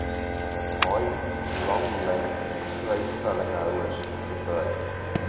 haai langlynvrystellingshouers gebruik